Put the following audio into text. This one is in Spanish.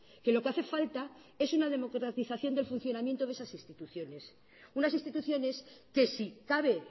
que lo que hace falta es una democratización del funcionamiento de esas instituciones unas instituciones que si cabe